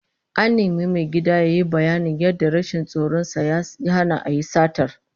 An nemi mai gadin yayi bayanin yadda rashin tsoron sa ya hana a yi satar